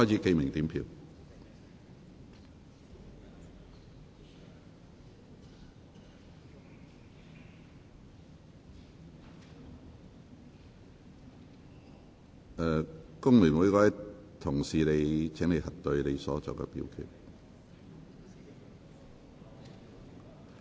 請各位議員核對所作的表決。